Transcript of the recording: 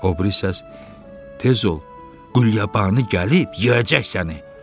O biri səs: Tez ol, Qulyabanı gəlib yeyəcək səni.